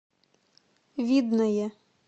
видное